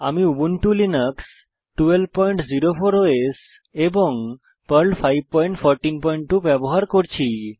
আমি Ubuntu Linux 1204 OS এবং Perl 5142 ব্যবহার করছি